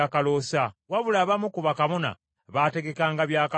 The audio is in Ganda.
Wabula abamu ku bakabona baategekanga byakaloosa.